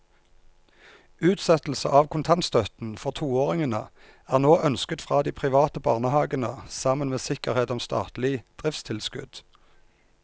Utsettelse av kontantstøtten for toåringene er nå ønsket fra de private barnehavene sammen med sikkerhet om statlig driftstilskudd.